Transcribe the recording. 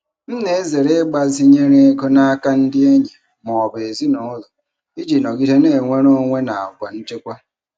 M na-ezere ịgbazinye ego n'aka ndị enyi ma ọ bụ ezinụlọ iji nọgide na-enwere onwe na àgwà nchekwa.